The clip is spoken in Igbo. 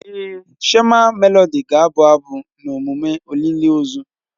Èé, shama Melodị ga-abụ abụ na emume olili ozu.